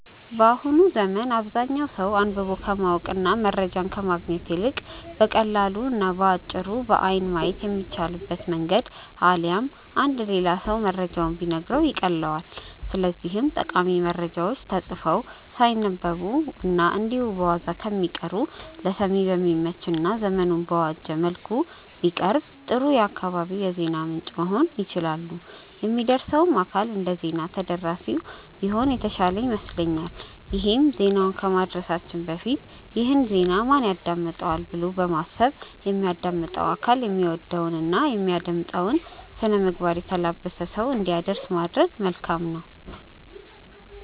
በአሁኑ ዘመን አብዛኛው ሰው አንብቦ ከማወቅ እና መረጃን ከማግኘት ይልቅ በቀላሉ እና በአጭሩ በአይን ማየት በሚቻልበት መንገድ አሊያም አንድ ሌላ ሰው መረጃውን ቢነግረው ይቀልለዋል። ስለዚህም ጠቃሚ መረጃዎች ተጽፈው ሳይነበቡ እና እንዲሁ በዋዛ ከሚቀሩ ለሰሚ በሚመች እና ዘመኑን በዋጀ መልኩ ቢቀርቡ ጥሩ የአካባቢው የዜና ምንጭ መሆን ይችላሉ። የሚያደርሰውም አካል እንደዜና ተደራሲው ቢሆን የተሻለ ይመስለኛል ይሄም ዜናውን ከማድረሳችን በፊት "ይህን ዜና ማን ያዳምጠዋል?'' ብሎ በማሰብ የሚያዳምጠው አካል የሚወደውን እና የሚመጥነውን ስነምግባር የተላበሰ ሰው እንዲያደርስ ማድረግ መልካም ነው።